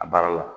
A baara la